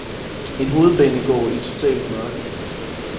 En hovedbanegård i totalt mørke.